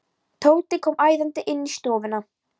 Tóti kom æðandi inn í stofuna.